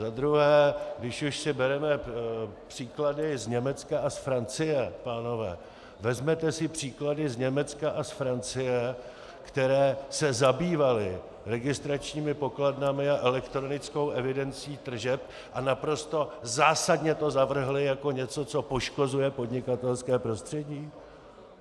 Za druhé, když už si bereme příklady z Německa a z Francie, pánové, vezměte si příklady z Německa a z Francie, které se zabývaly registračními pokladnami a elektronickou evidencí tržeb a naprosto zásadně to zavrhly jako něco, co poškozuje podnikatelské prostředí.